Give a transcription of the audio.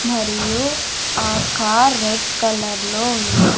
మరియు ఆ car red colour లో ఉంది.